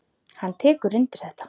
Hann tekur undir þetta.